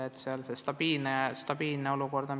Pigem on oluline stabiilne olukord.